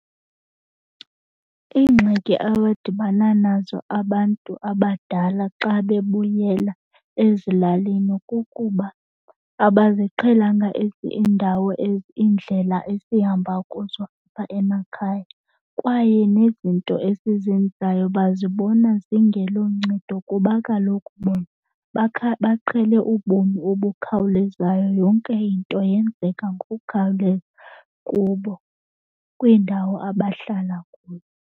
Iingxaki abadibana nazo abantu abadala xa bebuyela ezilalini kukuba abaziqhelanga iindawo iindlela esihamba kuzo apha emakhaya. Kwaye nezinto esizenzayo bazibona zingeloncedo kuba kaloku bona baqhele ubomi obukhawulezayo. Yonke into yenzeka ngokukhawuleza kubo kwiindawo abahlala kuzo.